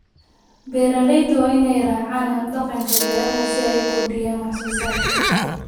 Beeralayda waa in ay raacaan hab-dhaqanka beeraha si ay u kordhiyaan wax soo saarka.